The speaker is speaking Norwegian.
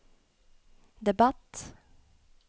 debatt